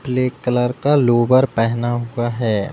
पीले कलर का लोवर पहना हुआ है।